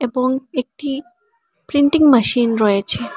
এবং একটি printing machine রয়েছে।